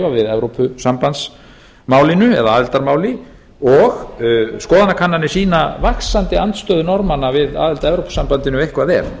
við evrópusambandsmálinu eða aðildarmálinu og skoðanakannanir sýna vaxandi andstöðu norðmanna við aðild að evrópusambandinu ef eitthvað er